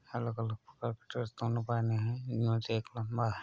अलग अलग स्ट्रक्चर से दोनों बने हैं। इनमें से एक लम्बा है।